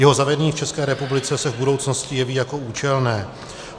Jeho zavedení v České republice se v budoucnosti jeví jako účelné.